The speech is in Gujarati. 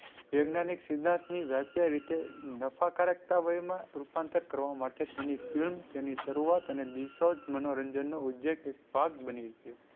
વૈજ્ઞાનિક સિદ્ધાંત ની વ્યાખ્યાય રીતે નફાકારકતા વય માં રૂપાંતર કરવા માટે તેની film તેની શરૂઆત અને મનોરંજન નો ઉજજેક એક ભાગ બની ગયો.